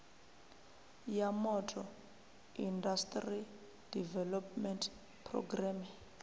ya motor industry development programme